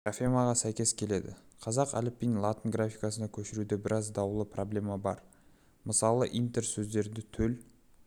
графемаға сәйкес келеді қазақ әліпбиін латын графикасына көшіруде біраз даулы проблема бар мысалы интерсөздерді төл